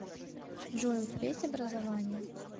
джой у тебя есть образование